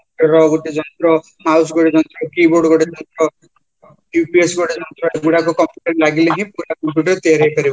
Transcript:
ର ଗୋଟେ mouse ଗୋଟେ ଯନ୍ତ୍ର keyboard ଗୋଟେ ଯନ୍ତ୍ର UPS ଗୋଟେ ଯନ୍ତ୍ରଟେ ଯୋଉ ଗୁଡାକ computerରେ ଲାଗିଲେହିଁ ପୁରା computer ତିଆରି ହେଇପାରିବ